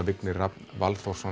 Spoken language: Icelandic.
Vignir Rafn